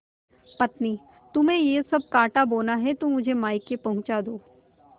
पत्नीतुम्हें यह सब कॉँटा बोना है तो मुझे मायके पहुँचा दो